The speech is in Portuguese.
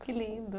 Que lindo.